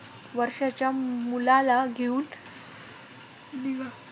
वर्षाच्या मुलाला घेऊन निघा